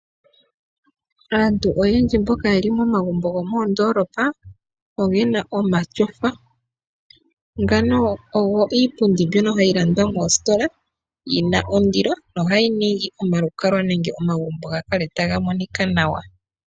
Aantu oyendji mboka yeli momagumbo gomoondolopa ogena omashofa . Mbino oyo iipundi mbyoka hayi landwa moositola , yina ondilo nohayi ningi omalukalwa nenge omagumbo gakale taga monika nawa.